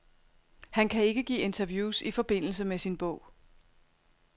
Han kan ikke give interviews i forbindelse med sin bog.